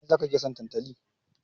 Mai ya sa kake son tantali?